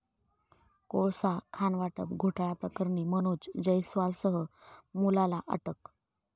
कोळसा खाणवाटप घोटाळ्याप्रकरणी मनोज जयस्वालसह मुलाला अटक